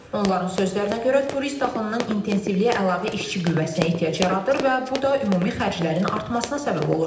Onların sözlərinə görə turist axınının intensivliyi əlavə işçi qüvvəsinə ehtiyac yaradır və bu da ümumi xərclərin artmasına səbəb olur.